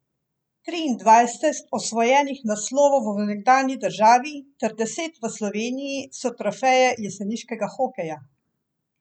Triindvajset osvojenih naslovov v nekdanji državi ter deset v Sloveniji so trofeje jeseniškega hokeja!